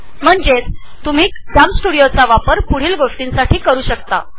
मंजेच तुम्ही कम्स्तुदिओ चा वापर पुढील गोष्टींसाठी करु शकता